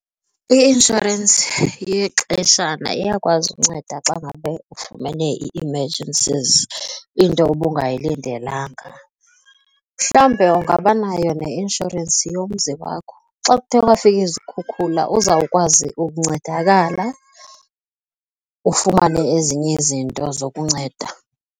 I-inshorensi yexeshana iyakwazi unceda xa ngabe ufumene i-emergencies into ubungayilindelanga mhlawumbi ungabanayo neinshorensi yomzi wakho xa kuthe kwafika izikhukhula uzawukwazi ukuncedakala, ufumane ezinye izinto zokunceda.